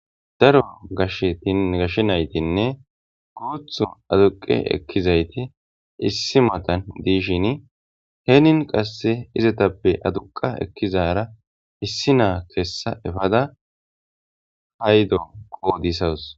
Daro gashe naytinne guthu aduqi ekizayti issi mala mayo mayidi issippe shiqidi tamareson tamarishe de'osona.